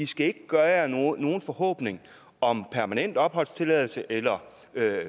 skal gøre jer nogen forhåbning om permanent opholdstilladelse eller